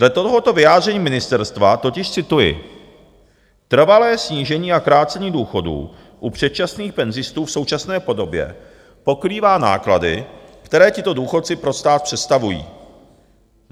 Dle tohoto vyjádření ministerstva totiž cituji: "Trvalé snížení a krácení důchodů u předčasných penzistů v současné podobě pokrývá náklady, které tito důchodci pro stát představují.